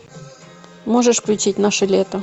можешь включить наше лето